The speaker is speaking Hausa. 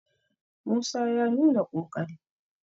musa ya nuna ƙoƙari!